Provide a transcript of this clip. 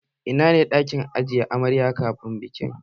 Ina ne ɗakin ajiye amarya kafin aure?